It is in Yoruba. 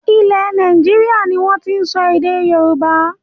Ilẹ̀ Nàìjíríà ni wọn tin sọ èdè Yorùbá